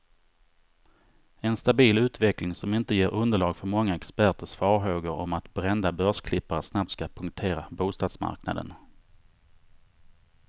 En stabil utveckling, som inte ger underlag för många experters farhågor om att brända börsklippare snabbt ska punktera bostadsmarknaden.